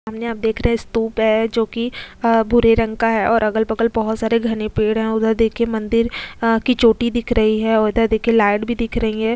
सामने आप देख रहे हैं स्तूप है जो कि आ भूरे रंग का है और अगल-बगल बहुत सारे घने पेड़ है उधर देखिय मंदिर की चोटी दिख रही है और इधर देखिए लाइट भी दिख रही है।